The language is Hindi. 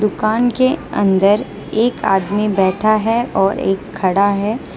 दुकान के अंदर एक आदमी बैठा है और एक खड़ा है।